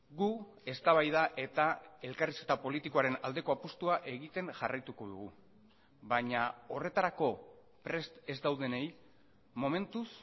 gu eztabaida eta elkarrizketa politikoaren aldeko apustua egiten jarraituko dugu baina horretarako prest ez daudenei momentuz